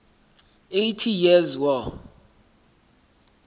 eighty years war